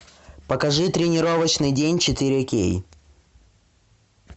покажи тренировочный день четыре кей